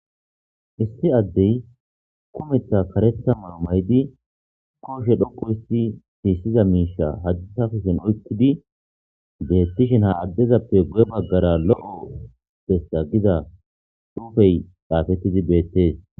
isti addey kumetha karetha mao maydi kooshe dhoqu histi hiissiza miisha hadita kushen oykkidi beettishen ha addezappe gu7e baggara lo7o bessa giza xuufey xaafettidi beettees